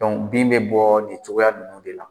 bin bɛ bɔ nin cogoya ninnu de la